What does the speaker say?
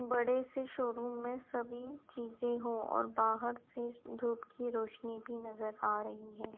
बड़े से शोरूम में सभी चीजे हो और बाहर से धूप की रोशनी भी नजर आ रही है।